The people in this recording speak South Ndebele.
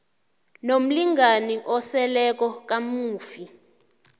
nomlingani oseleko kamufi